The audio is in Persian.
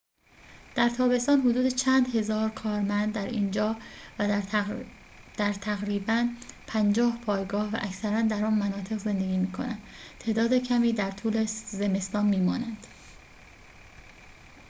در تابستان حدود چند هزار کارمند در اینجا و در تقریباً پنجاه پایگاه و اکثراً در آن مناطق زندگی می‌کنند تعداد کمی در طول زمستان می‌مانند